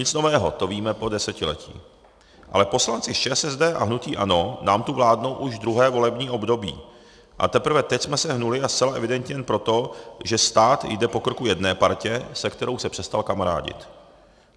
Nic nového, to víme po desetiletí, ale poslanci z ČSSD a hnutí ANO nám tu vládnou už druhé volební období a teprve teď jsme se hnuli a zcela evidentně jen proto, že stát jde po krku jedné partě, se kterou se přestal kamarádit.